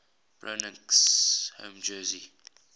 broncos home jersey